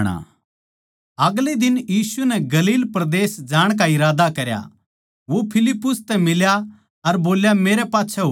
अगले दिन यीशु नै गलील परदेस जाण का इरादा करया वो फिलिप्पुस तै मिल्या अर बोल्या मेरे गेल्या हो ले